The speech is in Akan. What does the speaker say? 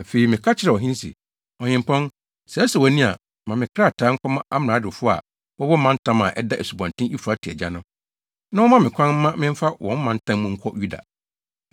Afei, meka kyerɛɛ ɔhene se, “Ɔhempɔn, sɛ ɛsɔ wʼani a ma me nkrataa nkɔma amradofo a wɔwɔ mantam a ɛda Asubɔnten Eufrate agya no, na wɔmma me kwan mma memfa wɔn mantam mu nkɔ Yuda.